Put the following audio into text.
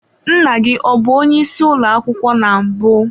Nna gi ọbu onye isi ụlọ akwụkwọ na mbụ?